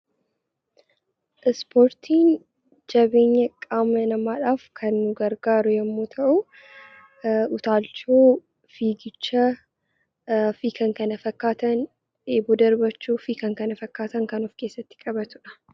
Ispoortiin jabeenya qaama namaadhaaf kan nu gargaaru yemmuu ta'uu, utaakchoo, fiigicha fi kan kana fakkaatan, eeboo darbachuu fi kan kana fakkaatan kan of keessatti qabatu dha.